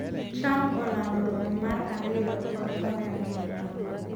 trump olando romo mar ariyo kod Korea ma milambo